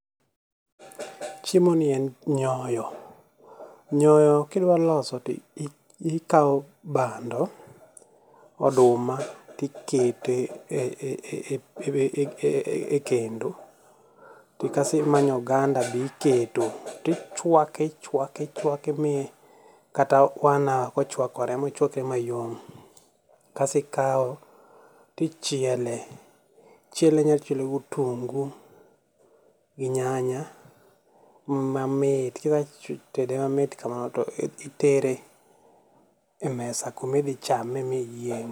Chiemoni en nyoyo, nyoyo kidwa loso to ikawo bando oduma to iketo e kendo kasto imanyo oganda be iketo to ichuake ichuake ichuake mi kata one hour kochuakore ochuakre mayom kaeto ikawe to ichiele. inyalo chiele gi otungu gi nyanya kaeto itere emesa kuma idhi chame miyieng'